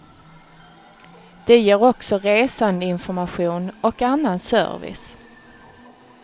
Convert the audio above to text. De ger också resandeinformation och annan service.